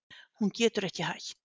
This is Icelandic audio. Hún getur ekki hætt.